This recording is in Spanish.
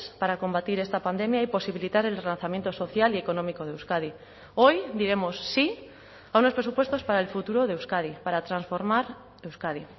para combatir esta pandemia y posibilitar el relanzamiento social y económico de euskadi hoy diremos sí a unos presupuestos para el futuro de euskadi para transformar euskadi